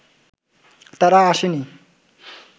তারা আসেনি